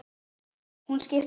Hún skiptir máli.